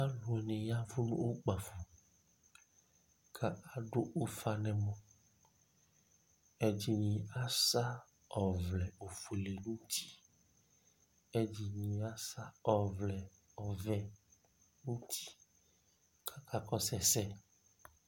alʋ ni ya nʋ ʋkpaƒɔ kʋ adʋ ʋƒa nʋ ɛmɔ, ɛdini asa ɔvlɛ ɔƒʋɛ di nʋ ʋti ɛdini asa ɔvlɛ ɔvɛ nʋ ʋti kʋ aka kɔsʋ ɛsɛ